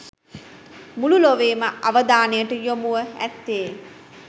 මුළු ලොවේම අවධානයට යොමුව ඇත්තේ